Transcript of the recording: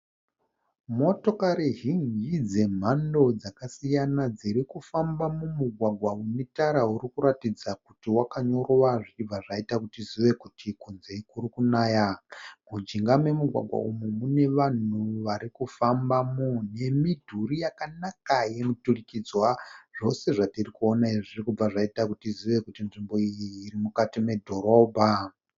Motokari zhinji dzemhando dzakasiyana dziri kufamba mumugwagwa une tara uri kuratidza kuti wakanyorova zvichibva zvaita kuti tizive kuti kunze kuri kunaya. Mujinga memugwagwa umu mune vanhu vari kufambamo nemidhuri yakanaka yemuturikidzwa. Zvose zvatiri kuona izvi zviri kubva zvaita kuti tizive kuti nzvimbo iyi iri mukati medhorobha.